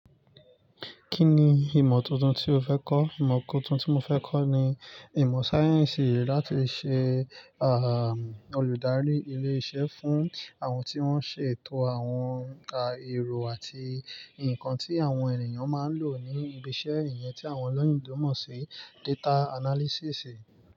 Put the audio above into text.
Kí ni ìmọ̀ tuntun tí o fẹ́ kọ́? Ìmọ̀ kan tuntun tí mo fẹ́ kọ́ ni ìmọ̀ sáyẹ́ǹsì láti ṣe, ah, olùdarí ilé-iṣẹ́ fún àwọn tí wọ́n ń ṣe ètò àwọn òùnkà èrò àti nǹkan tí àwọn ènìyàn máa ń lò ní ibi iṣẹ́, ìyẹn tí àwọn olóyínbó mọ̀ sí data analysis.